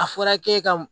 A fɔra k'e ka